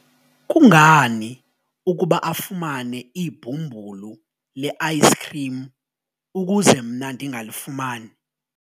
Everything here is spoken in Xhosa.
kungani ukuba afumane ibhumbulu le-ayisikhrim ukuze mna ndingalifumani?